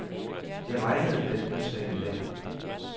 Det regnede den udslagne dag.